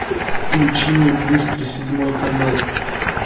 включи мне быстро седьмой канал